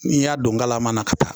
N'i y'a don galama na ka taa